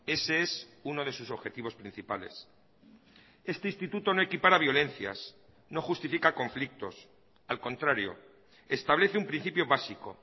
ese es uno de sus objetivos principales este instituto no equipara violencias no justifica conflictos al contrario establece un principio básico